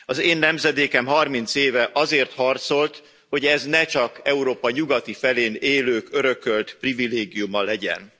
Az én nemzedékem 30 éve azért harcolt, hogy ez ne csak Európa nyugati felén élők örökölt privilégiuma legyen.